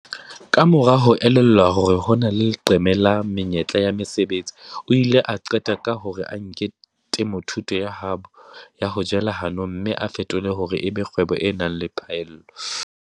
Kamora ho elellwa hore ho na le leqeme la menyetla ya mesebetsi, o ile a qeta ka hore a nke temothuo ya habo ya ho jela hanong mme a e fetole hore e be kgwebo e nang le phaello.